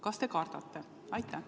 Kas te kardate?